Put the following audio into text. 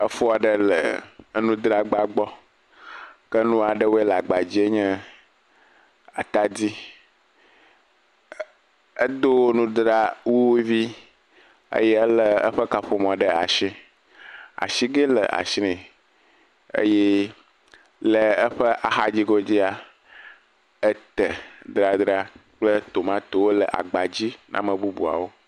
Efo aɖe le enudzragba gbɔ. Ke nu aɖewo le agba dzie nye atadi, e edo nudzrawuvi eye ele eƒe kaƒomɔ ɖe asi. Asigɛ le asi nɛ eye kple aƒe axadzi godzia ete dzadzra kple tomatowo le agbadzi, amebubuawo.